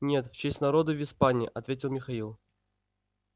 нет в честь народа в испании ответил михаил